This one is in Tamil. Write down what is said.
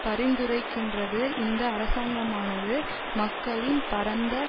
பரிந்துரைக்கின்றது இந்த அரசாங்கமானது மக்களின் பரந்த